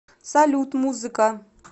салют музыка